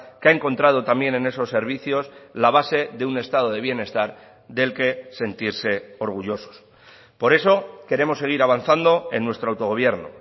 que ha encontrado también en esos servicios la base de un estado de bienestar del que sentirse orgullosos por eso queremos seguir avanzando en nuestro autogobierno